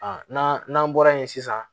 A n'an n'an bɔra yen sisan